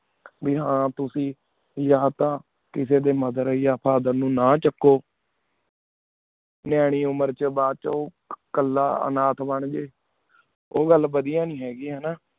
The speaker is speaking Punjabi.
ਬੇ ਹਨ ਤੁਸੀਂ ਬੇ ਯਾਨ ਤਾ ਕਿਸੀ ਡੀ mother ਯਾ father ਨੂ ਨਾ ਚਾਕੂ ਨਿਆਣੀ ਉਮੇਰ ਚੁਣ ਬਛੁ ਕਲਾ ਇਨਤ ਬਣ ਜੇ ਉਗਲ ਬਦੇਯਾ ਨੀ ਹੈਂ ਗੀ ਹਾਨਾ